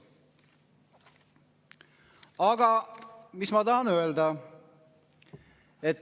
Aga mis ma tahan öelda?